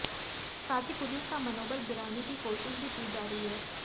साथ ही पुलिस का मनोबल गिराने की कोशिश भी की जा रही है